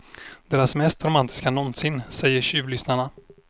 Deras mest romantiska nånsin, säger tjuvlyssnarna.